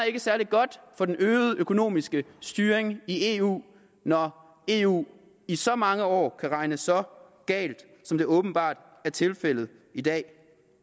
særlig godt for den øgede økonomiske styring i eu når eu i så mange år kan regne så galt som det åbenbart er tilfældet i dag